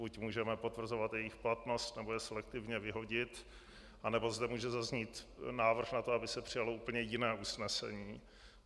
Buď můžeme potvrzovat jejich platnost, nebo je selektivně vyhodit, anebo zde může zaznít návrh na to, aby se přijalo úplně jiné usnesení.